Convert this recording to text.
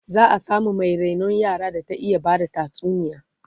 za'a samu Mai rainon yara da ta iya Bada tatsuniya